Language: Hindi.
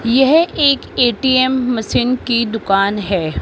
यह एक ए_टी_एम मशीन की दुकान हैं।